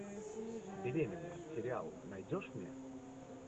беременный сериал найдешь мне